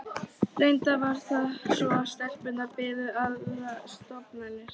Reyndar var það svo að stelpunnar biðu aðrar stofnanir.